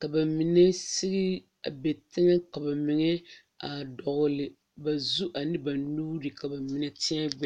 ka ba mine sige a be teŋɛ ka ba mine a dɔgle ba zu ane ba nuuri ka ba mine teɛ gbɛɛ.